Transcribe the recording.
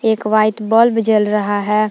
एक white bulb जल रहा है।